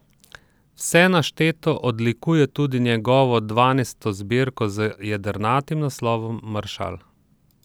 Vse našteto odlikuje tudi njegovo dvanajsto zbirko z jedrnatim naslovom Maršal.